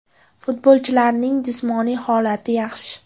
Futbolchilarning jismoniy holati yaxshi.